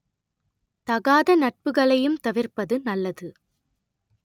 தகாத நட்புகளையும் தவிர்ப்பது நல்லது